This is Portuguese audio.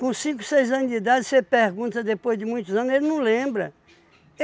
Com cinco, seis anos de idade, você pergunta depois de muitos anos, ele não lembra.